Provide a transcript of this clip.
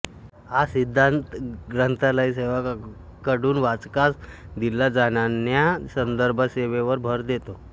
हा सिद्धांत ग्रंथालय सेवकांकडून वाचकांस दिल्या जाणान्या संदर्भसेवेवर भर देतो